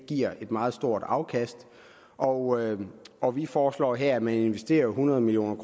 giver et meget stort afkast og og vi foreslår her at man investerer hundrede million